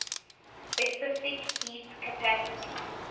specific heat capacity